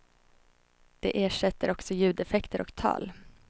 Det ersätter också ljudeffekter och tal.